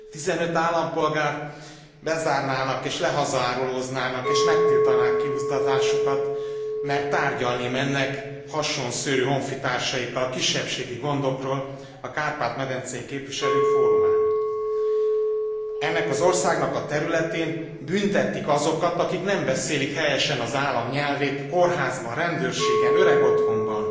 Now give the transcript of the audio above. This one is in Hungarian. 15 állampolgárt bezárnának és lehazaárulóznának és megtiltanák kiutazásukat, mert tárgyalni mennek hasonszőrű honfitársaikkal kisebbségi gondokról a Kárpát medencei Képviselők Fórumán. Ennek az országnak a területén büntetik azokat, akik nem beszélik helyesen az állam nyelvét kórházban, rendőrségen, öregotthonban,